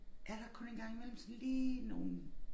Er der kun en gang imellem sådan lige nogle